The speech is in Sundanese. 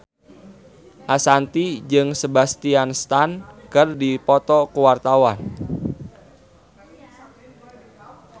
Ashanti jeung Sebastian Stan keur dipoto ku wartawan